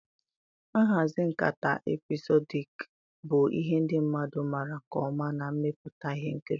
Nhazi nkata epịsodik bụ ihe ndị mmadụ maara nke ọma na mmepụta ihe nkiri.